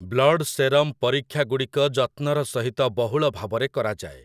Blood serum ପରୀକ୍ଷାଗୁଡ଼ିକ ଯତ୍ନର ସହିତ ବହୁଳଭାବରେ କରାଯାଏ ।